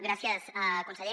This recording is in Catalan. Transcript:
gràcies conseller